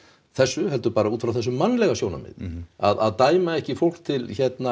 þessu heldur bara út frá þessu mannlega sjónarmiði að dæma ekki fólk til